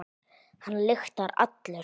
Hann lyktar allur.